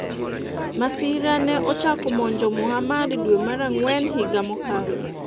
Masira ne ochako monjo Muhamad dwe mar Ang'wen higa mokalo